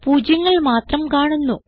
പൂജ്യങ്ങൾ മാത്രം കാണുന്നു